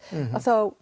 en þá